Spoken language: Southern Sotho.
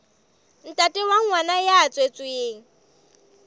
ntate wa ngwana ya tswetsweng